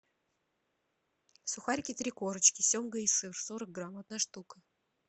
сухарики три корочки семга и сыр сорок грамм одна штука